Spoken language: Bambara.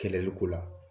Kɛlɛliko la